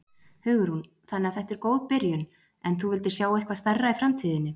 Hugrún: Þannig að þetta er góð byrjun en þú vildir sjá eitthvað stærra í framtíðinni?